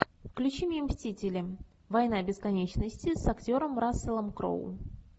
включи мне мстители война бесконечности с актером расселом кроу